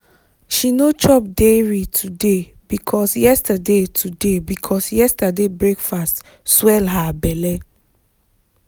she no chop dairy today because yesterday today because yesterday breakfast swell her belle